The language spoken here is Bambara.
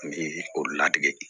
o ladege